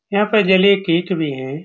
यहाँ पे जले केक भी हैं।